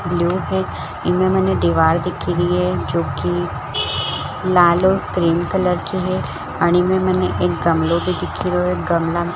इनमे मने दिवार दिखी रै ये जोकि लाल और क्रीम कलर की है में मने भी दिखि रैयो है --